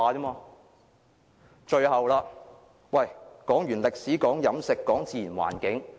我剛剛談過歷史、飲食及自然環境。